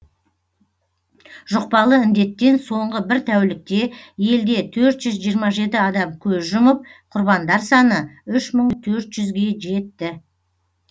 жұқпалы індеттен соңғы бір тәулікте елде төрт жүз жиырма жеті адам көз жұмып құрбандар саны үш мың төрт жүзге жетті